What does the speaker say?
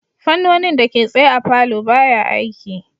Fannonin dake tsaye a palour baya aiki